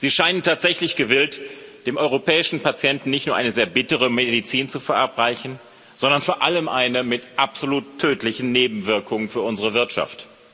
Sie scheinen tatsächlich gewillt, dem europäischen Patienten nicht nur eine sehr bittere Medizin zu verabreichen, sondern vor allem eine mit absolut tödlichen Nebenwirkungen für unsere Wirtschaft.